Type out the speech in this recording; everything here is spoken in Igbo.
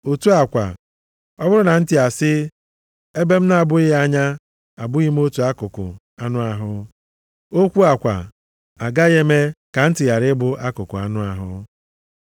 Otu a kwa, ọ bụrụ na ntị asị, “Ebe m na-abụghị anya abụghị m otu akụkụ anụ ahụ.” Okwu a kwa agaghị eme ka ntị ghara ịbụ akụkụ anụ ahụ.